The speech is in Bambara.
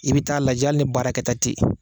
I bɛ taa lajɛ hali ni baarakɛta tɛ yen.